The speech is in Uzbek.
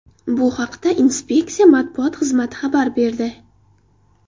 Bu haqda inspeksiya matbuot xizmati xabar berdi .